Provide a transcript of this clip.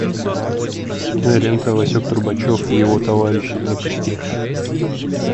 кинолента васек трубачев и его товарищи запусти